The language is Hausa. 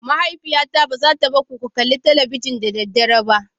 Mahaifiyata ba za ta bar ku ku kalli talabijin da dare ba